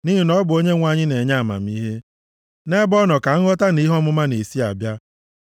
Nʼihi na ọ bụ Onyenwe anyị na-enye amamihe; nʼebe ọ nọ ka nghọta na ihe ọmụma na-esi abịa. + 2:6 \+xt 1Ez 3:9,12; Job 32:8; Jem 1:5.\+xt*